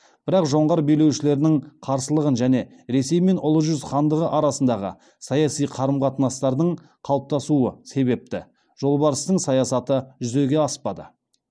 бірақ жоңғар билеушілерінің қарсылығы және ресей мен ұлы жүз хандығы арасындағы саяси қарым қатынастардың қалыптаспауы себепті жолбарыстың саясаты жүзеге аспады